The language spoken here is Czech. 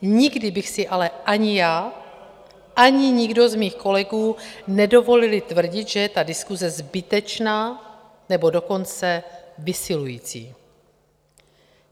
Nikdy bychom si ale ani já, ani nikdo z mých kolegů nedovolili tvrdit, že je ta diskuse zbytečná, nebo dokonce vysilující.